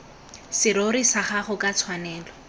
serori sa gago ka tshwanelo